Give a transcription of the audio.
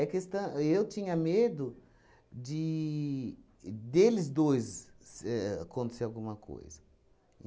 É questã... eu tinha medo de... deles dois se ahn acontecer alguma coisa.